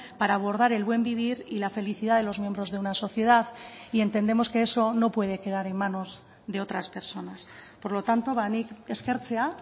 para abordar el buen vivir y la felicidad de los miembros de una sociedad y entendemos que eso no puede quedar en manos de otras personas por lo tanto ba nik eskertzea